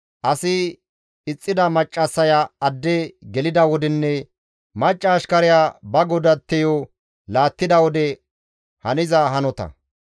asi ixxida maccassaya adde gelida wodenne macca ashkariya ba godatteyo laattida wode haniza hanota.